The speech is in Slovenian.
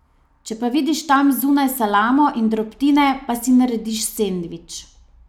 Če pa vidiš tam zunaj salamo in drobtine, pa si narediš sendvič.